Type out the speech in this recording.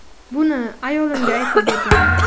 Buni ayolimga aytib bergandim.